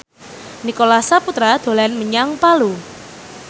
Nicholas Saputra dolan menyang Palu